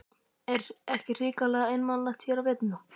Er ekki hrikalega einmanalegt hér á veturna?